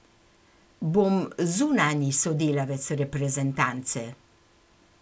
Bom zunanji sodelavec reprezentance.